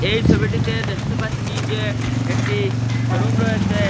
এই সবিটিতে দেখতে পাচ্চি যে একটি শোরুম রয়েসে।